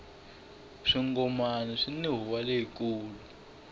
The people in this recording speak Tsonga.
swingomani swini huwa leyi kulu